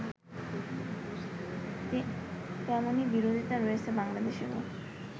তেমনই বিরোধিতা রয়েছে বাংলাদেশেও